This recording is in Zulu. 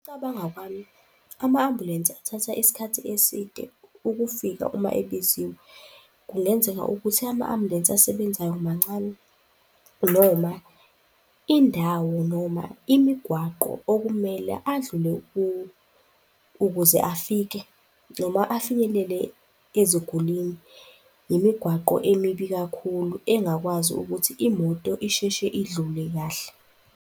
Ngokucabanga kwami, ama-ambulensi athatha isikhathi eside ukufika uma ebiziwe. Kungenzeka ukuthi ama-ambulensi asebenzayo mancane noma indawo, noma imigwaqo okumele adlule kuwo ukuze afike noma afinyelele ezigulwini, imigwaqo emibi kakhulu engakwazi ukuthi imoto isheshe idlule kahle.